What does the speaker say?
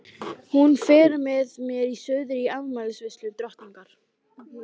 Hún fer með mér suður í afmælisveislu drottningar.